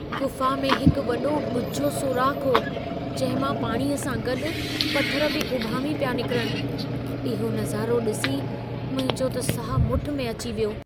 गुफ़ा में हिकु वॾो ॻुझो सोराख़ु हो, जंहिं मां पाणीअ सां गॾु पथर बि उभामी पिया निकिरनि। इहो नज़ारो ॾिसी मुंहिंजो त साहु मुठि में अची वियो।